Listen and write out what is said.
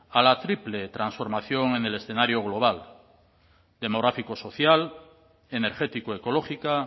a la triple transformación en el escenario global demográfico social energético ecológica